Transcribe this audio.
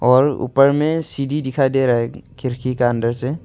और ऊपर में सीढ़ी दिखाई दे रहा है खिड़की का अंदर से।